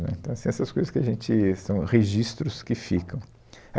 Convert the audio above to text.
Né, então, assim, essas coisas que a gente... São registros que ficam.